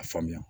A faamuya